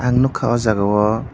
ang nogka o jaga o.